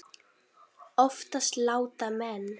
Oftast láta menn